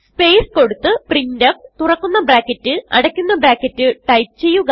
space കൊടുത്ത് printf തുറക്കുന്ന bracket അടയ്ക്കുന്ന ബ്രാക്കറ്റ് ടൈപ്പ് ചെയ്യുക